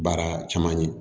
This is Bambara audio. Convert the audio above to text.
Baara caman ye